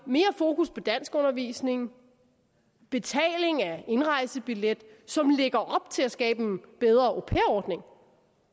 mere fokus på danskundervisning og betaling af indrejsebillet som lægger op til at skabe en bedre au pair ordning